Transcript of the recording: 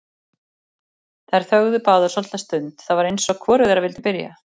Þær þögðu báðar svolitla stund, það var eins og hvorug þeirra vildi byrja.